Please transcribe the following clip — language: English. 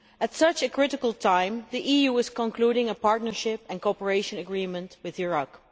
At such a critical time the EU is concluding a partnership and cooperation agreement with Iraq.